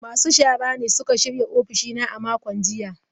Masu shara ne suka shirya ofishina a makon jiya.